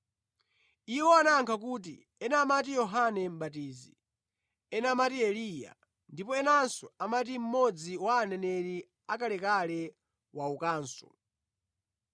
Iwo anayankha kuti, “Ena amati Yohane Mʼbatizi; ena amati Eliya; ndipo enanso amati mmodzi wa aneneri akalekale waukanso.”